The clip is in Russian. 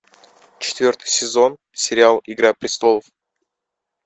четвертый сезон сериал игра престолов